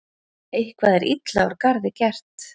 Eitthvað er illa úr garði gert